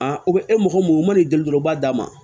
e mɔgɔ mun man'i deli dɔrɔn u b'a d'a ma